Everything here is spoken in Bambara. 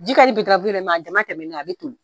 Ji ka di ye dɛ a damatɛmɛnen na a bɛ toli